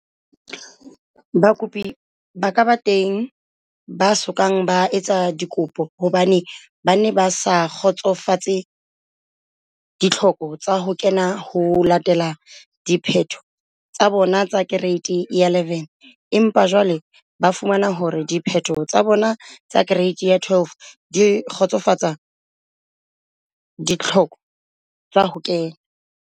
Bakopi ba ka bang teng ba so kang ba etsa dikopo hobane ba ne ba sa kgotsofatse ditlhoko tsa ho kena ho latela diphetho tsa bona tsa Kereiti ya 11 empa jwale ba fumana hore diphetho tsa bona tsa Kereiti ya 12 di kgotsofatsa ditlhoko tsa ho kena.